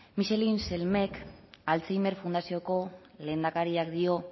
micheline selmesek alzheimer fundazioko lehendakariak dio